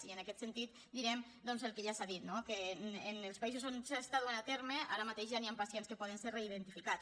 i en aquest sentit direm el que ja s’ha dit no que en els països on s’ha estat duent a terme ara mateix ja hi han pacients que poden ser reidentificats